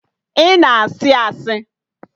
Ị na-asị asị!